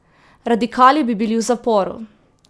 Radikali bi bili v zaporu!